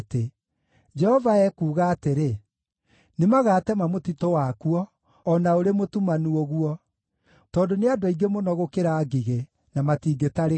Jehova ekuuga atĩrĩ, “Nĩmagatema mũtitũ wakuo, o na ũrĩ mũtumanu ũguo. Tondũ nĩ andũ aingĩ mũno gũkĩra ngigĩ, na matingĩtarĩka.